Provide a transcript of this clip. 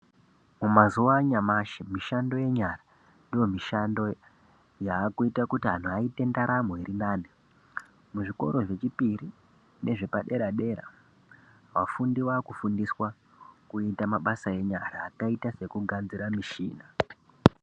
Mumazuva anyamashi mumishando yenyara ndomishando yakuita kuti antu aite ndaramo irinani. Muzvikoro zvechipiri nezvepadera dera vafundi vakufundiswa kuita mabasa enyara akaita sekugadzira mushina.